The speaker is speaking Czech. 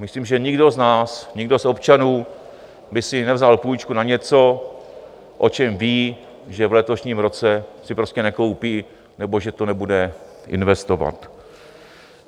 Myslím, že nikdo z nás, nikdo z občanů by si nevzal půjčku na něco, o čem ví, že v letošním roce si prostě nekoupí nebo že to nebude investovat.